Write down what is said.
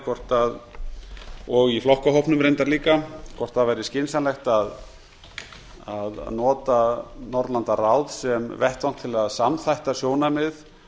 hvort og í flokkahópnum reyndar líka hvort það væri skynsamlegt að nota norðurlandaráð sem vettvang til að samþætta sjónarmið